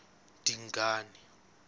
dingane